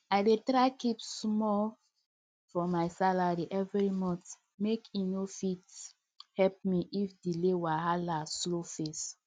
i dey try keep small from my salary every month make e fit help me if delay wahala show face